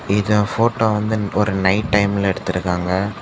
இது போட்டோ வந்து ஒரு நைட் டைம் ல எடுத்திருக்காங்க.